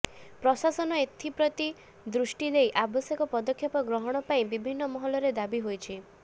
ପ୍ରଶାସନ ଏଥିପ୍ରତି ଦୃଷ୍ଟିଦେଇ ଆବଶ୍ୟକ ପଦକ୍ଷେପ ଗ୍ରହଣ ପାଇଁ ବିଭିନ୍ନ ମହଲରେ ଦାବି ହୋଇଛି